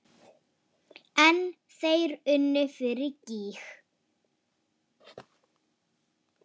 En þeir unnu fyrir gýg.